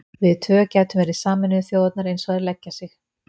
Við tvö gætum verið Sameinuðu þjóðirnar eins og þær leggja sig.